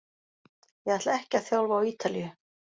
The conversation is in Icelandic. Ég ætla ekki að þjálfa á Ítalíu.